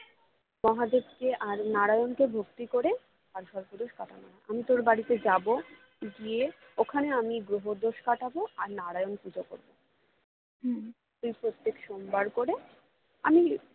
মহাদেবকে আর নারায়ণকে ভক্তি করে কালসর্প দোষ কাটানো না যাই না আমি তোর বাড়ি যাবো গিয়ে ওখানে আমি গ্রহ দোষ কাটাবো আর নারায়ণ পুজো করবো তুই প্রত্যেক সোমবার করে আমি